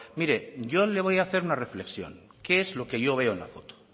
mire yo le voy a hacer una reflexión qué es lo que yo veo en la foto